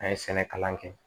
An ye sɛnɛ kalan kɛ